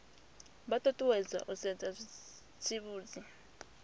vha ṱuṱuwedzwa u sedza zwitsivhudzi